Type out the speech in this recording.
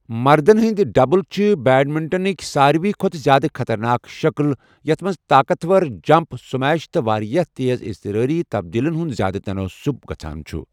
مردَن ہٕنٛدۍ ڈبٔل چھِ بیڈمنٹنُک سارِی کھۄتہٕ زِیٛادٕ خطرناک شکٕل، یَتھ منٛز طاقتور جمپ سمیش تہٕ واریٛاہ تیز اضطراری تبدٕلَن ہُنٛد زِیٛادٕ تناسب گژھان چُھ۔